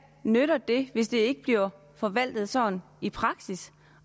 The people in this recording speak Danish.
nytter det hvis det ikke bliver forvaltet sådan i praksis